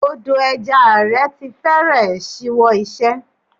Odò ẹja rẹ̀ ti fẹ́rẹ̀ ṣíwọ́ iṣẹ́.